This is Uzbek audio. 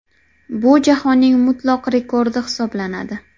Bu jahonning mutlaq rekordi hisoblanadi.